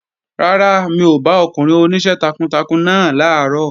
Rárá, mi ò bá ọkùnrin oníṣẹ́ takuntakun náà làárọ̀